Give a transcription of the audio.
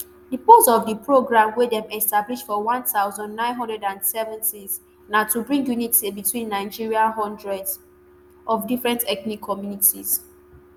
di purpose of di programme wey dem establish for one thousand, nine hundred and seventys na to bring unity between nigeria hundreds of different ethnic communities